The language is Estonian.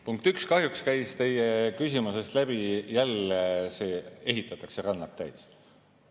Punkt üks: kahjuks käis teie küsimuses läbi jälle see, et ehitatakse rannad täis.